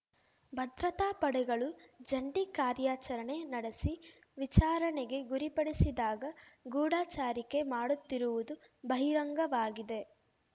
ಭದ್ರತಾ ಪಡೆಗಳು ಜಂಟಿ ಕಾರ್ಯಾಚರಣೆ ನಡೆಸಿ ವಿಚಾರಣೆಗೆ ಗುರಿಪಡಿಸಿದಾಗ ಗೂಢಚಾರಿಕೆ ಮಾಡುತ್ತಿರುವುದು ಬಹಿರಂಗವಾಗಿದೆ